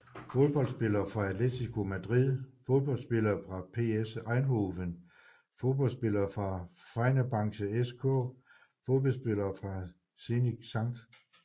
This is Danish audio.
Fodboldspillere fra Atlético Madrid Fodboldspillere fra PSV Eindhoven Fodboldspillere fra Fenerbahçe SK Fodboldspillere fra Zenit Skt